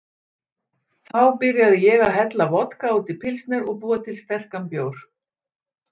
Þá byrjaði ég að hella vodka út í pilsner og búa til sterkan bjór.